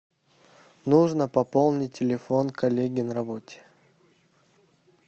нужно пополнить телефон коллеги на работе